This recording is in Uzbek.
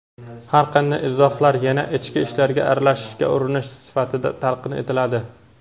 har qanday izohlar yana "ichki ishlarga aralashishga urinish" sifatida talqin etiladi.